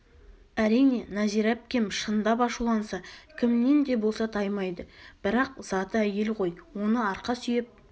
әрине нәзира әпкем шындап ашуланса кімнен де болса таймайды бірақ заты әйел ғой оны арқа сүйеп